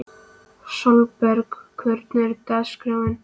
Sólberg, hvernig er dagskráin?